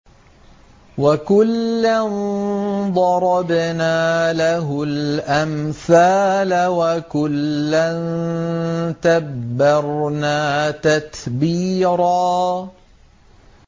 وَكُلًّا ضَرَبْنَا لَهُ الْأَمْثَالَ ۖ وَكُلًّا تَبَّرْنَا تَتْبِيرًا